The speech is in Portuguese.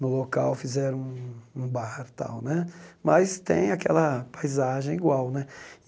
No local fizeram um um bar tal né, mas tem aquela paisagem igual né.